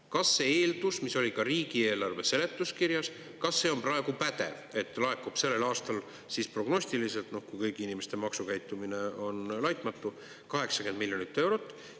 Kas see eeldus, mis oli ka riigieelarve seletuskirjas, kas see on praegu pädev, et laekub sel aastal siis prognostiliselt, kui kõigi inimeste maksukäitumine on laitmatu, 80 miljonit eurot?